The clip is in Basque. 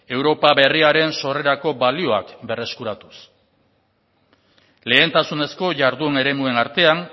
europa berriaren sorrerako balioak berreskuratuz lehentasunezko jardun eremuen artean